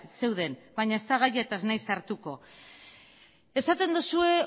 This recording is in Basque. zeuden baina ez da gaia eta ez naiz sartuko esaten duzue